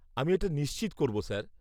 -আমি এটা নিশ্চিত করব স্যার।